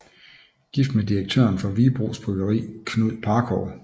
Gift med direktøren for Wiibroes Bryggeri Knud Parkov